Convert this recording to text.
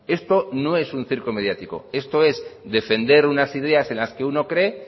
esto no es un circo mediático esto es defender unas ideas en las que uno cree